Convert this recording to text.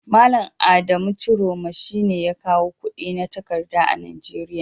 Malam Adamu ciroma shine ya kawo kudi na takarda a Najeria.